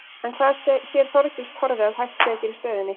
En hvað sér Þorgils Torfi að hægt sé að gera í stöðunni?